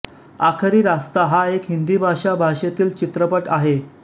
आखरी रास्ता हा एक हिंदी भाषा भाषेतील चित्रपट आहे